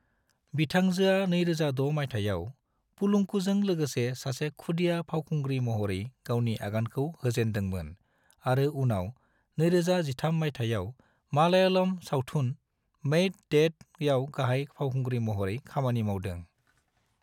बिथांजोआ 2006 मायथाइयाव 'पलुंकु' जों लोगोसे सासे खुदिया फावखुंग्रि महरै गावनि आगानखौ होजेनदों मोन आरो उनाव 2013 मायथाइयाव मलयालम सावथुन 'मैड डैड' याव गाहाय फावखुंग्रि महरै खामानि मावदों।